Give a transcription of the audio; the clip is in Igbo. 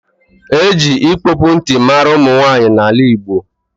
E ji ịkpọpụ nti mara ụmụnwanyị n’ala Igbo